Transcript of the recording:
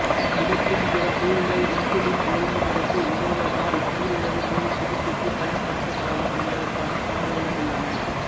விடத்தின் பிற கூறுகள் இன்சுலின் ஒழுங்குமுறைக்கு உதவுவதால் நீரிழிவு நோய்ச் சிகிச்சைக்குப் பயன்படுத்தப்படலாம் என்பதற்கான சான்றுகளும் உள்ளன